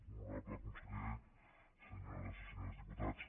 honorable conseller se·nyores i senyors diputats